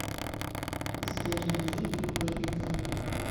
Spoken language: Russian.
сбер найди биг бэйби тэйп